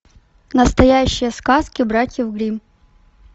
настоящие сказки братьев гримм